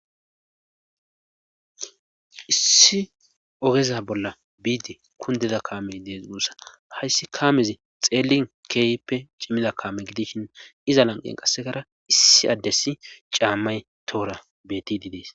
issi ogeza bolla biidi kundeda kaamey dees bussa hayssi kaamezi xeelin keeyppe cimmida kaame gidishin iza lanqen qassekara issi addessi caammay toora beti didees